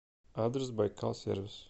адрес байкал сервис